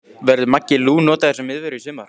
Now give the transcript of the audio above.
Verður Maggi Lú notaður sem miðvörður í sumar?